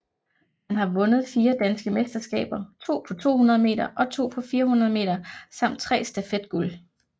Han har vundet fire danske mesterskaber to på 200 meter og to på 400 meter samt tre stafet guld